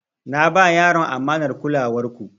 Na ba yaron amanar kulawar ku.